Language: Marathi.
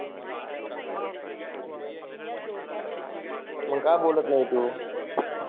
मग का बोलत नाही तू